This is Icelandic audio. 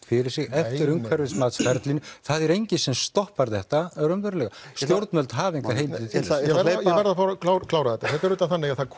fyrir sig eftir umhverfismatsferlinu það er enginn sem stoppar þetta raunverulega stjórnvöld hafa engar heimildir til þess ég verð að fá að klára klára þetta þetta er auðvitað þannig að